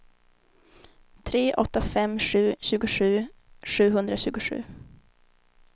tre åtta fem tre tjugosju sjuhundratjugosju